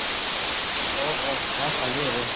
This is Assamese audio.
অহ অহ চাহ খালো আৰু।